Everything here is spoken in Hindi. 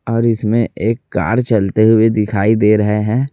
और इसमें एक कार चलते हुए दिखाई दे रहे हैं।